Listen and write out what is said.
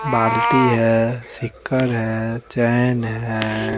बाल्टी हैं सिक्कर हैं चैन हैं--